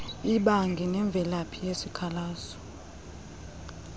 imbangi nemvelaphi yesikhalazo